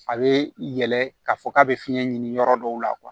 A bɛ yɛlɛ k'a fɔ k'a bɛ fiɲɛ ɲini yɔrɔ dɔw la